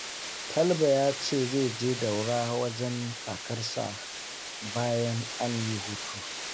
Talba ya ce zai je Daura wajen kakarsa bayan an yi hutu